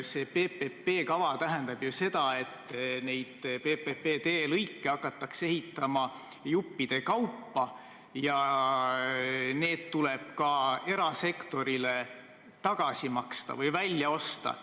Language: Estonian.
See PPP kava tähendab ju seda, et neid PPP teelõike hakatakse ehitama juppide kaupa ja need tuleb erasektorilt välja osta.